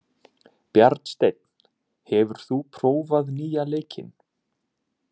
Bjarnsteinn, hefur þú prófað nýja leikinn?